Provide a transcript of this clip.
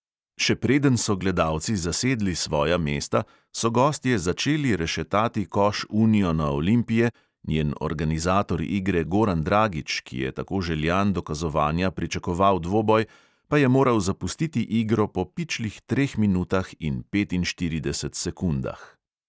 Še preden so gledalci zasedli svoja mesta, so gostje začeli rešetati koš uniona olimpije, njen organizator igre goran dragič, ki je tako željan dokazovanja pričakoval dvoboj, pa je moral zapustiti igro po pičlih treh minutah in petinštiridesetih sekundah.